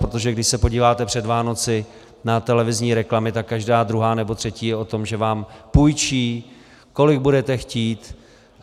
Protože když se podíváte před Vánoci na televizní reklamy, tak každá druhá nebo třetí je o tom, že vám půjčí, kolik budete chtít.